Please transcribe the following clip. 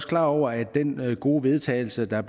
klar over at den gode vedtagelse der